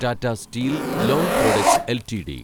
Tata steel long products LTD